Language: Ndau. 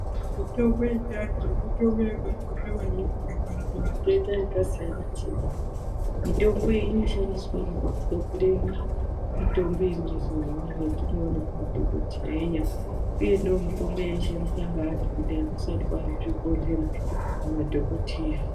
Mutombo yechiantu mutombo yakakosha maningi pakurapa matenda akasiyana siyana. mitombo iyi inoshandiswazve pakugadzire mitombo yemazuwa ano yatinoona kumadhokodheya . Uye ndiyo mitombo yaishandiswa ngeantu kudhaya kusati kwaane zvibhedhlera nemadhokodheya .